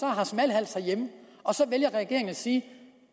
har smalhals hjemme og så vælger regeringen at sige